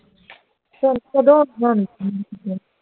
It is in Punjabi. ਹੁਣ ਕਦੋਂ ਹੋਣੀਆਂ ਗਰਮੀ ਦੀਆਂ ਛੁੱਟੀਆਂ